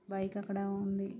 Bike అక్కడ ఉంది.